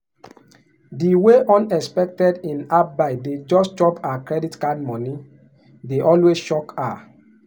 di way unexpected in-app buy dey just chop her credit card money dey always shock her.